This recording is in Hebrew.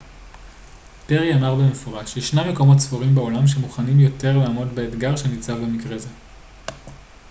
פרי אמר במפורש ישנם מקומות ספורים בעולם שמוכנים יותר לעמוד באתגר שניצב במקרה זה